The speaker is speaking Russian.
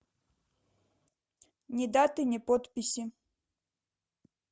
ни даты ни подписи